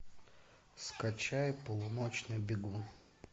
скачай полуночный бегун